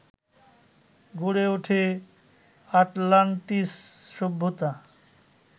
গড়ে ওঠে আটলান্টিস সভ্যতা